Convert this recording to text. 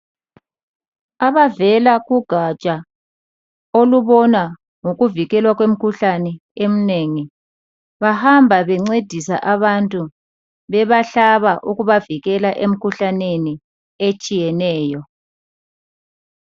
Abavela kugatsha olubona ngokuvikelwa kwemikhuhlane eminengi bahamba bencedisa abantu bebahlaba ukubavikela emkhuhlaneni etshiyeneyo.